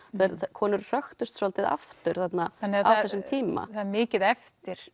konur hröktust svolítið aftur þarna á þessum tíma það er mikið eftir